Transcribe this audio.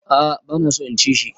A'a bana so in ci shi.